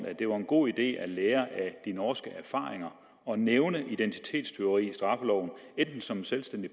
at det var en god idé at lære af de norske erfaringer og nævne identitetstyveri i straffeloven enten som en selvstændig